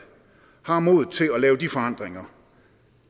har modet til at lave de forandringer